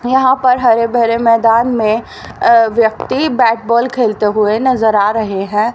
यहां पर हरे भरे मैदान में अ व्यक्ति बैट बॉल खेलते हुए नजर आ रहे हैं।